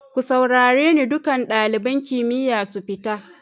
Ku saurare ni, dukan dalibain kimiyya su fita!